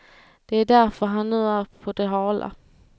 Det är därför han nu är på det hala.